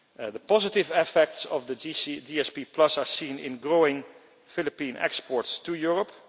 The positive effects of the GSP are seen in growing Philippine exports to Europe.